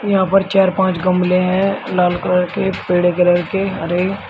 यहां पर चार पांच गमले हैं लाल कलर के पेड़े कलर के हरे --